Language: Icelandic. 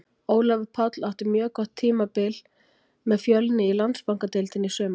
Ólafur Páll átti mjög gott tímabili með Fjölni í Landsbankadeildinni í sumar.